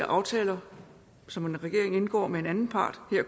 aftaler som regeringen indgår med en anden part her